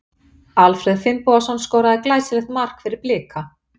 Alfreð Finnbogason skoraði glæsilegt mark fyrir Blika.